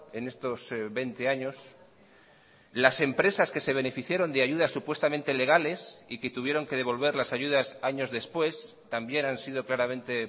en estos veinte años las empresas que se beneficiaron de ayudas supuestamente legales y que tuvieron que devolver las ayudas años después también han sido claramente